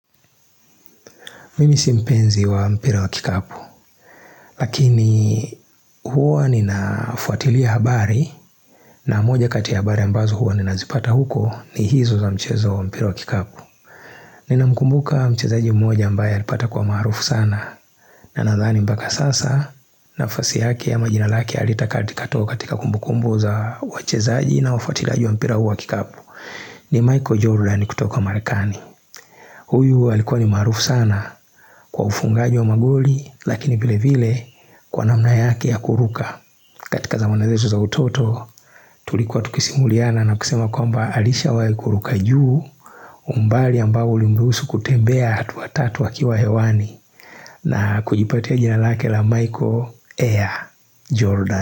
Mimi si mpenzi wa mpira wa kikapu, lakini huwa ninafuatilia habari na moja kati ya habari ambazo huwa ninazipata huko ni hizo za mchezo wa mpira wa kikapu Ninamkumbuka mchezaji mmoja ambaye alipata kuwa maarufu sana na nadhani mpaka sasa, nafasi yake ama jina lake alitakatika toka katika kumbukumbu za wachezaji na wafuatiliaji wa mpira huu wa kikapu ni Michael Jordan kutoka Marekani Huyu alikuwa ni maarufu sana kwa ufungaji wa magoli lakini vile vile kwa namna yake ya kuruka. Katika za mawazo zetu za utoto tulikuwa tukisimuliana na kusema kwamba alishawahi kuruka juu umbali ambao ulimruhusu kutembea hatua tatu akiwa hewani na kujipatia jina lake la Michael Air Jordan.